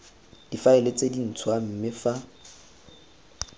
difaele tse dintshwa mme fa